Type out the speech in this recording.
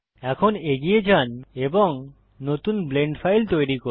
এখন এগিয়ে যান এবং নতুন ব্লেন্ড ফাইল তৈরী করুন